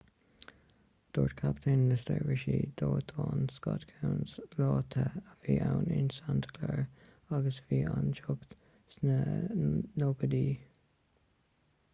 dúirt captaen na seirbhísí dóiteáin scott kouns lá te a bhí ann in santa clara agus bhí an teocht sna 90idí